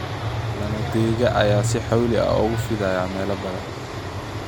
Lamadega ayaa si xawli ah ugu fidaya meelo badan.